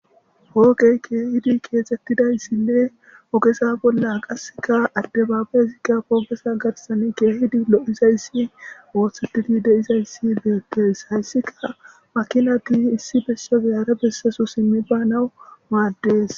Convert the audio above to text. hooqey keehidi keexettidayssinne ogesa bolla qasseka adde baabayezigga poogesa gatasan keehidi lo7izayssi woothsetidi deizayssi legettes hayssika makinati issi bessade hara bessesu simmi banawu maaddees